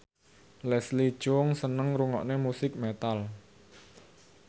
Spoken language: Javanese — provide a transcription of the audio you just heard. Leslie Cheung seneng ngrungokne musik metal